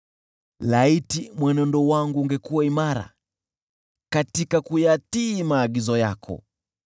Laiti mwenendo wangu ungekuwa imara katika kuyatii maagizo yako!